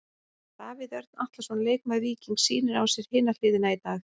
Davíð Örn Atlason, leikmaður Víkings sýnir á sér hina hliðina í dag.